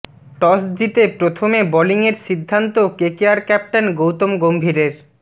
toss জিতে প্রথমে বোলিংয়ের সিদ্ধান্ত কেকেআর ক্যাপ্টেন গৌতম গম্ভীরের